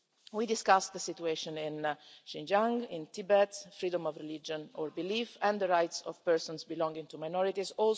We discussed the situation in Xinjiang, in Tibet, freedom of religion or belief and the rights of persons belonging to minorities.